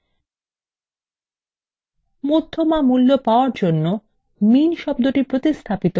মধ্যমা মূল্য পাওয়ার জন্য min শব্দটি প্রতিস্থাপন করে median করুন